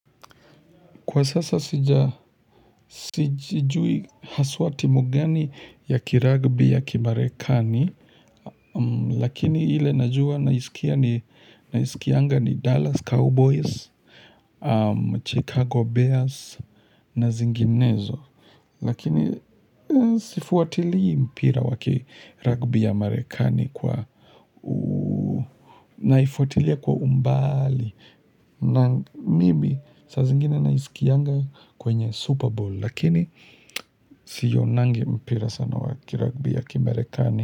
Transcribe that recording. Kwa sasa sijui haswa timu gani ya kiragbi ya kimarekani. Lakini ile najua naisikia ni Dallas Cowboys, Chicago Bears na zinginezo. Lakini sifuatilii mpira wa kiragbi ya marekani kwa naifuatilia kwa umbali. Na maybe saa zingine naiskianga kwenye super bowl lakini sionangi mpira sana wa kiragbi ya kimarekani.